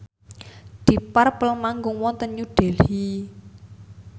deep purple manggung wonten New Delhi